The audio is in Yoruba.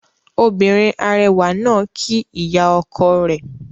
Obìnrin arẹwà náà kíí ìyá ọkọ rẹ̀